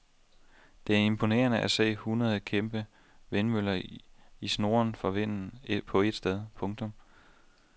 Det er imponerende at se et hundrede kæmpe vindmøller i snurren for vinden på et sted. punktum